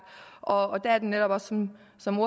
og der er det netop også sådan som